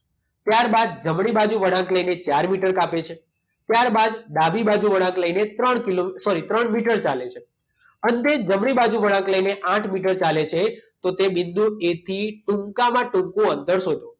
ત્યારબાદ જમણી બાજુ વળાંક લઈને ચાર મીટર કાપે છે. ત્યારબાદ ડાબી બાજુ વળાંક લઈને ત્રણ કિલો સૉરી ત્રણ મીટર ચાલે છે. અંતે જમણી બાજુ વળાંક લઈને આઠ મીટર ચાલે છે. તો બિંદુ એથી ટૂંકામાં ટૂંકું અંતર શોધો.